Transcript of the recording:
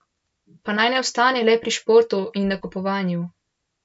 Pa naj ne ostane le pri športu in nakupovanju.